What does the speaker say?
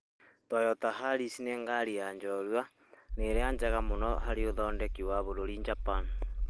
Toyota Yaris nĩ ngari ya njorũa, nĩ ĩrĩa njega mũno harĩ ũthondeki wa bũrũri Japan.